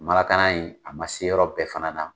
in a ma se yɔrɔ bɛɛ fana na.